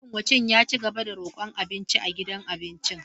Mayunwacin ya ci gaba da rokon abinci a gidan abincin.